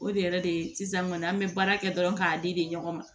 O de yɛrɛ de sisan kɔni an be baara kɛ dɔrɔn k'a di de ɲɔgɔn ma